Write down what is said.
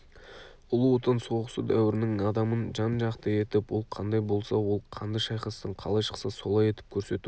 ұлы отан соғысы дәуірінің адамын жан-жақты етіп ол қандай болса ол қанды шайқастан қалай шықса солай етіп көрсету